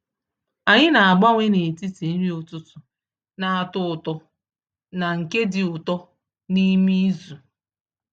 Anyị na-agbanwe n’etiti nri ụtụtụ na-atọ ụtọ na nke dị ụtọ n’ime izu.